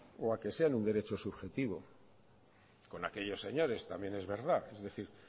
o a que sean un derecho subjetivo con aquellos señores también es verdad es decir